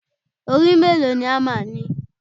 Orí mélòó ni hámà ni?